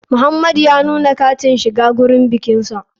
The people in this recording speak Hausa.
Muhamadu ya nuna katin shiga gurin bikinsa.